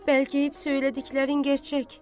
Bəlkə hep söylədiklərin gerçək.